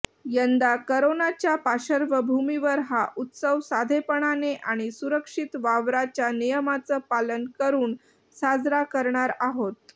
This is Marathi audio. यंदा करोनाच्या पार्श्वभूमीवर हा उत्सव साधेपणाने आणि सुरक्षित वावराच्या नियमांचं पालन करुन साजरा करणार आहोत